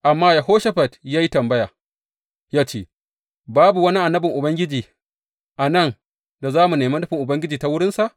Amma Yehoshafat ya yi tambaya ya ce, Babu wani annabin Ubangiji a nan da za mu nemi nufin Ubangiji ta wurinsa?